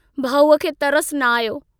भाऊअ खे तरसु न आयो।